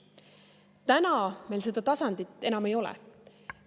Täna meil seda tasandit enam ei ole.